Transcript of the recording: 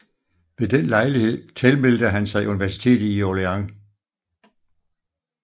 Ved den lejlighed tilmeldte han sig universitetet i Orléans